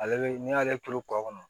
Ale bɛ n'i y'ale turu kɔ kɔnɔ